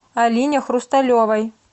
алине хрусталевой